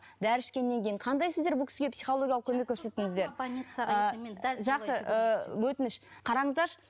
дәрі ішкеннен кейін қандай сіздер бұл кісіге психологиялық көмек көрсеттіңіздер жақсы ы өтініш қараңыздаршы